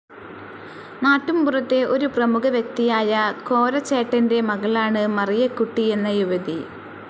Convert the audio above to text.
നാട്ടുമ്പുറത്തെ ഒരു പ്രമുഖവ്യക്തിയായ കോരചേട്ടൻ്റെ മകളാണ് മറിയക്കുട്ടി എന്ന യുവതി.